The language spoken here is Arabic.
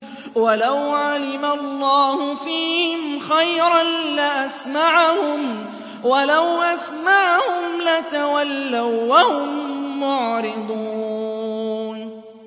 وَلَوْ عَلِمَ اللَّهُ فِيهِمْ خَيْرًا لَّأَسْمَعَهُمْ ۖ وَلَوْ أَسْمَعَهُمْ لَتَوَلَّوا وَّهُم مُّعْرِضُونَ